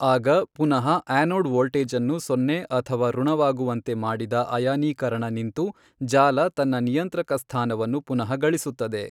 ಆಗ ಪುನಃ ಆ್ಯನೋಡ್ ವೋಲ್ಟೇಜನ್ನು ಸೊನ್ನೆ ಅಥವಾ ಋಣವಾಗುವಂತೆ ಮಾಡಿದ ಅಯಾನೀಕರಣ ನಿಂತು ಜಾಲ ತನ್ನ ನಿಯಂತ್ರಕ ಸ್ಥಾನವನ್ನು ಪುನಃಗಳಿಸುತ್ತದೆ.